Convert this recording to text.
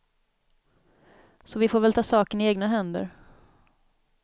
Så vi får väl ta saken i egna händer.